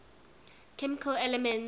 chemical elements